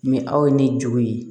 Ni aw ye ni juru ye